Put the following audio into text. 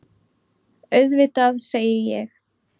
Auðvitað, segi ég.